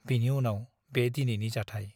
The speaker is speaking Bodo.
बिनि उनाव बे दिनैनि जाथाइ ।